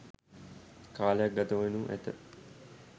කාලයක් ගතවෙනු ඇත